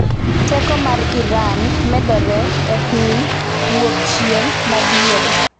Teko mar Iran ‘medore’ e piny Wuokchieng’ ma Diere.